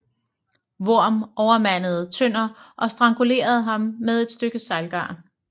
Worm overmandede Tønder og strangulerede ham med et stykke sejlgarn